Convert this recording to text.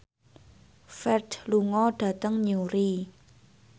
Ferdge lunga dhateng Newry